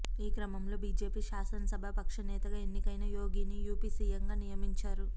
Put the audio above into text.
ఈ క్రమంలో బిజెపి శాసనసభా పక్ష నేతగా ఎన్నికైన యోగిని యుపి సిఎంగా నియమించారు